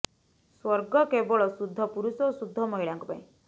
ସ୍ବର୍ଗ କେବଳ ଶୁଦ୍ଧ ପୁରୁଷ ଏବଂ ଶୁଦ୍ଧ ମହିଳାଙ୍କ ପାଇଁ